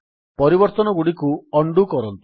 ପରିବର୍ତ୍ତନଗୁଡ଼ିକୁ undo କରନ୍ତୁ